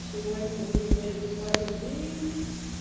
сегодня у меня ебанный день